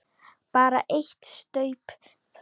Bara eitt staup, sagði Lóa.